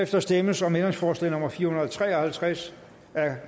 der stemmes om ændringsforslag nummer fire hundrede og tre og halvtreds